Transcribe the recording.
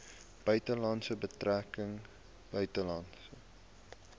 buitelandse betrekkinge buitelandse